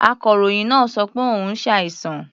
Akọ̀ròyìn náà sọ pé òun ṣàìsàn.